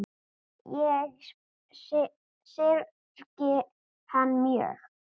Ég syrgi hann mjög.